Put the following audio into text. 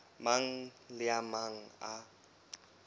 mang le a mang a